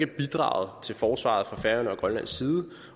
bidraget til forsvaret fra færøerne og grønlands side